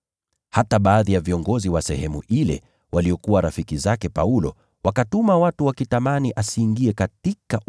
Hata baadhi ya viongozi wa sehemu ile, waliokuwa rafiki zake Paulo, wakatuma watu wakitamani asiingie katika ule ukumbi.